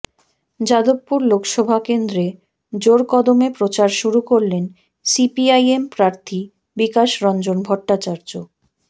যাদবপুর লোকসভা কেন্দ্রে জোরকদমে প্রচার শুরু করলেন সিপিআইএম প্রার্থী বিকাশ রঞ্জন ভট্টাচার্য